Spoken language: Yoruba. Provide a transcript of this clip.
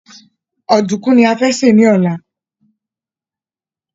Òdúkú ni a fẹ ní ọ̀la